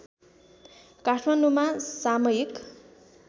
काठमाडौँमा सामयिक